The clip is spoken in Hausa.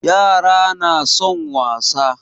Yara na son wasa